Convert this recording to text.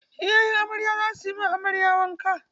Iyayan amarya za su yi ma amarya wanka.